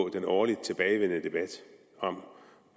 den årligt tilbagevendende debat om